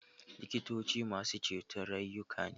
Likitoci masu ceto rayuka ne